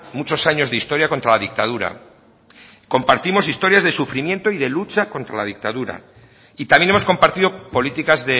muchos años de historia contra la dictadura compartimos historias de sufrimiento y de lucha contra la dictadura y también hemos compartido políticas